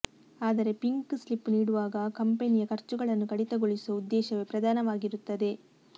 ಆದರೆ pink slip ನೀಡುವಾಗ ಕಂಪೆನಿಯ ಖರ್ಚುಗಳನ್ನು ಕಡಿತಗೊಳಿಸುವ ಉದ್ದೇಶವೇ ಪ್ರಧಾನವಾಗಿರುತ್ತದೆ